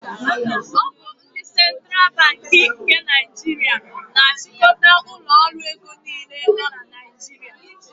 Ọ bụ ndị Central Banki nke Naijiria na-achịkọta ụlọ ọrụ ego niile nọ na Naijiria.